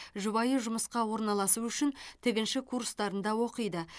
жұбайы жұмысқа орналасу үшін тігінші курстарында оқиды